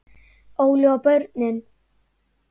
Óli og börnin.